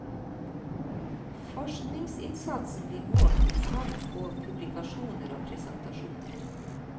Forskningsinnsatsen blir målt i tal på publikasjonar og presentasjonar.